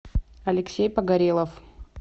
алексей погорелов